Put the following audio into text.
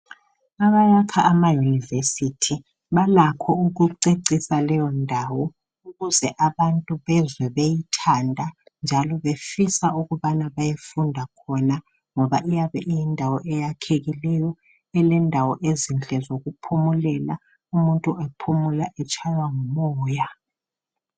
Abayakha amayunivesithi balakho ukucecisa leyondawo ukuze abantu bezwe beyithanda njalo befisa ukubana bayefunda khona ngoba iyabe iyindawo eyakhekileyo elendawo ezinhle zokuphumulela umuntu ephumula etshaywa ngumoya.